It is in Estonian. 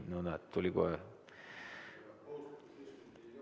No näed, tuli kohe!